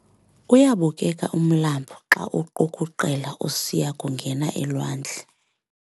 Uyabukeka umlambo xa uqukuqela usiya kungena elwandle.